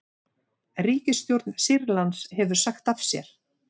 Ríkisstjórn Sýrlands hefur sagt af sér